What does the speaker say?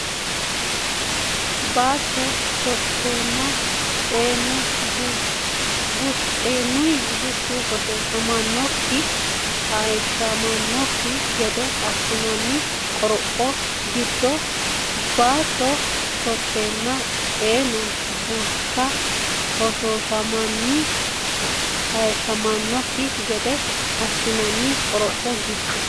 Baatto shotunni xeenunni bushshu hoshooshame hayishshmannokki gede assinanni qoropho giddo Baatto shotunni xeenunni bushshu hoshooshame hayishshmannokki gede assinanni qoropho giddo.